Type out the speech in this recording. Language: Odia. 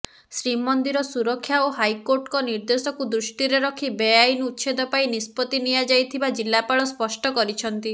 ଶ୍ରୀମନ୍ଦିର ସୁରକ୍ଷା ଓ ହାଇକୋର୍ଟଙ୍କ ନିର୍ଦ୍ଦେଶକୁ ଦୃଷ୍ଟିରେ ରଖି ବେଆଇନ ଉଚ୍ଛେଦ ପାଇଁ ନିଷ୍ପତ୍ତି ନିଆଯାଇଥିବା ଜିଲ୍ଲାପାଳ ସ୍ପଷ୍ଟ କରିଛନ୍ତି